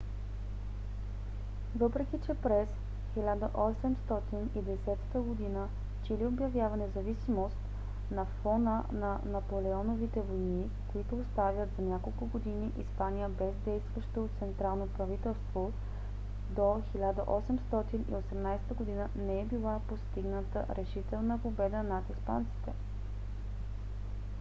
въпреки че през 1810 г. чили обявява независимост на фона на наполеоновите войни които оставят за няколко години испания без действащо централно правителство до 1818 г. не е била постигната решителна победа над испанците